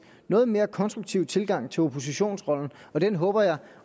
noget mere konstruktive tilgang til oppositionsrollen den håber jeg